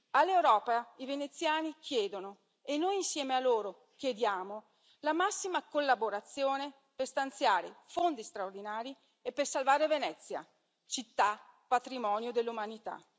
All'Europa i veneziani chiedono, e noi insieme a loro chiediamo, la massima collaborazione per stanziare fondi straordinari e per salvare Venezia, città patrimonio dell'umanità.